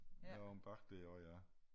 Der omme bagved også ja